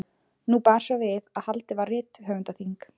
Nú bar svo við að haldið var rithöfundaþing.